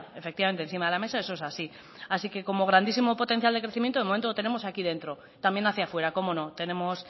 efectivamente encima de la mesa eso es así así que como grandísimo potencial de crecimiento de momento lo tenemos aquí dentro también hacia fuera cómo no tenemos